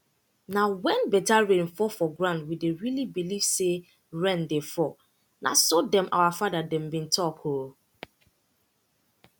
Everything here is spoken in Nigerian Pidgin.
nah when better rain fall for ground we dey really believe say rain dey fall nah so them our father dem be talk ooo